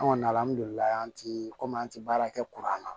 An kɔni alihamudulila an ti komi an ti baara kɛ kuran na